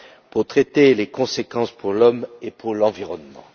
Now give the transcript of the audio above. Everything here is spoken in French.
pour traiter les conséquences pour l'homme et pour l'environnement.